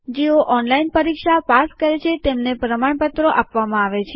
જે લોકો ઓનલાઈન પરીક્ષા પાસ કરે છે તેમને પ્રમાણપત્રો આપવામાં આવે છે